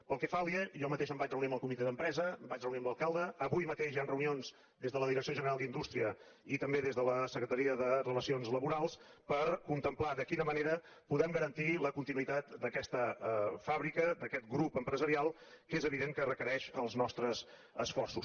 pel que fa a alier jo mateix em vaig reunir amb el comitè d’empresa em vaig reunir amb l’alcalde avui mateix hi han reunions des de la direcció general d’indústria i també des de la secretaria de relacions laborals per contemplar de quina manera podem garantir la continuïtat d’aquesta fàbrica d’aquest grup empresarial que és evident que requereix els nostres esforços